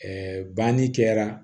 banni kɛra